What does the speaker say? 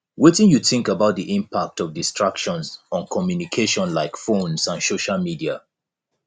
wetin you think about di impact of distractions on communication like phones and social media